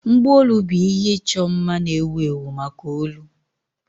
Mgbaolu bụ ihe ịchọ mma na-ewu ewu maka olu.